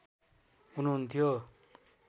हुनुहुन्थ्यो